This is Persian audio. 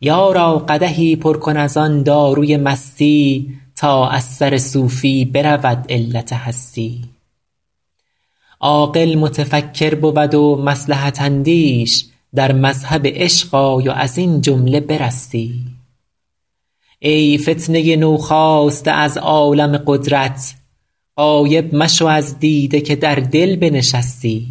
یارا قدحی پر کن از آن داروی مستی تا از سر صوفی برود علت هستی عاقل متفکر بود و مصلحت اندیش در مذهب عشق آی و از این جمله برستی ای فتنه نوخاسته از عالم قدرت غایب مشو از دیده که در دل بنشستی